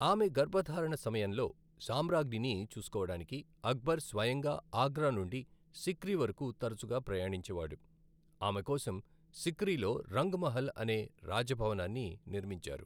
ఆమె గర్భధారణ సమయంలో సామ్రాజ్ఞిని చూసుకోవడానికి అక్బర్ స్వయంగా ఆగ్రా నుండి సిక్రీ వరకు తరచుగా ప్రయాణించేవాడు, ఆమె కోసం సిక్రీలో రంగ్ మహల్ అనే రాజభవనాన్ని నిర్మించారు.